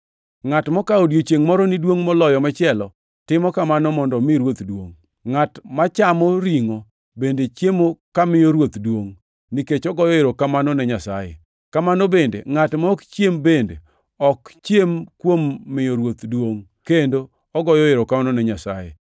Ngʼat mokawo odiechiengʼ moro ni duongʼ moloyo machielo timo kamano mondo omi Ruoth duongʼ. Ngʼat machamo ringʼo bende chiemo kamiyo Ruoth duongʼ, nikech ogoyo erokamano ne Nyasaye. Kamano bende, ngʼat ma ok chiem bende ok chiem kuom miyo Ruoth duongʼ, kendo ogoyo erokamano ne Nyasaye.